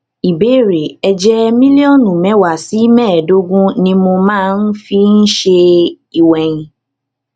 ìbéèrè èjè mílílíònù méwàá sí méèédógún ni mo máa ń fi ń ṣe ìwèyìn